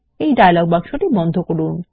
এই ডায়লগ বাক্স বন্ধ করুন